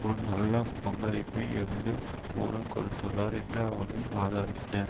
ஒரு நல்ல பங்களிப்பை எழுந்து மூலம் கொடுத்துள்ளார் என்று அவரின் வாதாடினர்